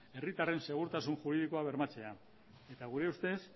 herritarren segurtasun juridikoa bermatzea eta gure ustez